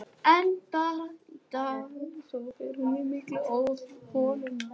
En bara í dag, svo fer hún í mygluholuna.